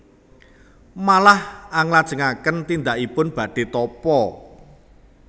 Malah anglajengaken tindakipun badhé tapa